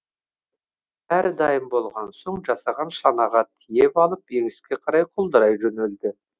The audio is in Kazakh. бәрі дайын болған соң жасаған шанаға тиеп алып еңіске қарай құлдырай жөнелді